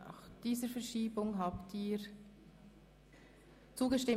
Sie haben dem Ordnungsantrag 16 zugestimmt.